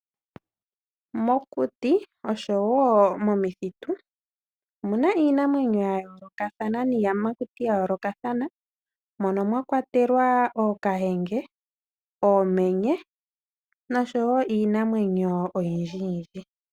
Mokuti nosho woo momithitu omuna iinamwenyo ya yoolokathana miiyamakuti ya yoolokathana .Mono mwa kwatelwa ookahenge, oomenye nosho woo iinamwenyo oyindji yindji.